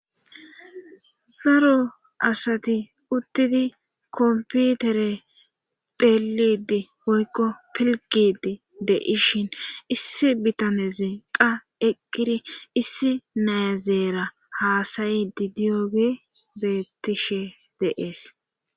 daro asati uttidi komputere delidi hoykko pilgidi de ishin issi bitane zeqa eqqiri issi naazeera haasayidi diyoge bettishe deees